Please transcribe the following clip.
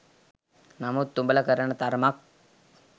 නමුත් උඹල කරන තරමක්